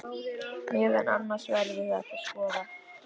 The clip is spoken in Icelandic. Meðal annars verður þetta skoðað